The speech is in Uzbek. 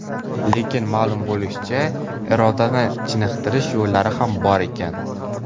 Lekin, ma’lum bo‘lishicha, irodani chiniqtirish yo‘llari ham bor ekan.